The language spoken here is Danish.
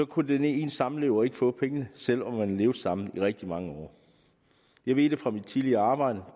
kunne ens samlever ikke få pengene selv om man havde levet sammen i rigtig mange år jeg ved det fra mit tidligere arbejde